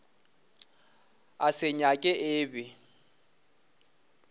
a se nyaka e be